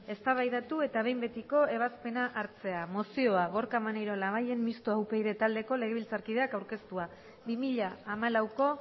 eztabaidatu eta behin betiko ebazpena hartzea mozioa gorka maneiro labayen mistoa upyd taldeko legebiltzarkideak aurkeztua bi mila hamalauko